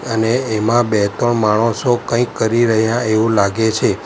અને એમાં બે-ત્રણ માણસો કંઈક કરી રહ્યા એવું લાગે છે.